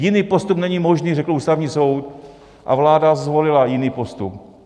Jiný postup není možný, řekl Ústavní soud, a vláda zvolila jiný postup.